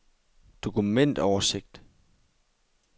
dokumentoversigt